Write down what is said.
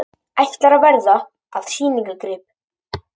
Ætlar að verða að sýningargrip